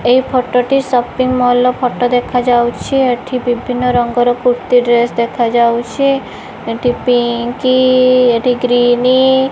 ଏଇ ଫଟୋ ଟି shopping mall ର ଫଟୋ ଦେଖାଯାଉଚି ଏଠି ବିଭିନ୍ନ ରଙ୍ଗର କୁର୍ତି ଡ୍ରେସ ଦେଖାଯାଉଚି ଏଠି ପିଙ୍କ ଏଠି ଗ୍ରୀନି --